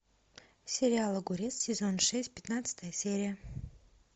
сериал огурец сезон шесть пятнадцатая серия